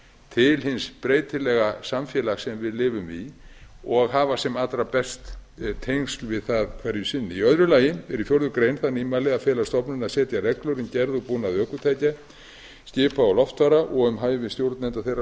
til hins breytilega samfélags sem við lifum í og hafa sem allra best tengsl við það hverju sinni í öðru lagi er í fjórða grein það nýmæli að fela stofnuninni að setja reglur um gerð og búnað ökutækja skipa og loftfara og um hæfi stjórnenda þeirra